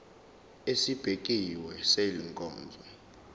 esibekiwe sale nkonzo